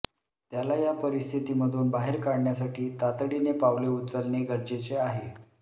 त्याला या परिस्थितीमधून बाहेर काढण्यासाठी तातडीने पावले उचलणे गरजेचे आहे